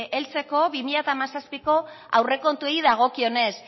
heltzeko bi mila hamazazpiko aurrekontuei dagokionez